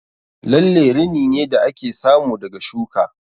Lalle rini ne da ake samu daga shuka